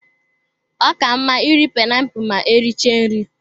Ọ ka mma iri painiapulu ma e richara nri.